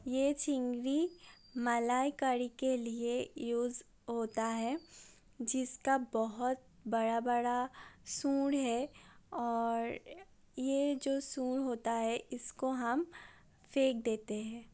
ये चिंगरी मलाई कड़ी के लिए यूज़ होता है जिसका बहोत बड़ा- बड़ा सूंड है और ये जो सूंड होता है। इसको हम फेक देते हैं।